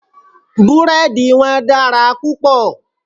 Búrẹ́dì wọn dára púpọ̀.